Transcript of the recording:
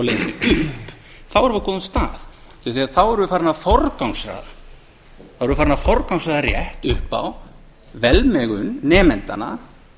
leiðinni upp þá erum við á góðum stað út af því að þá erum við farin að forgangsraða þá erum við farin að forgangsraða rétt upp á velmegun nemendanna